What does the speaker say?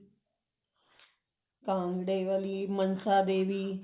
ਕਾਂਗੜੇ ਵਾਲੀ ਮਨਸਾ ਦੇਵੀ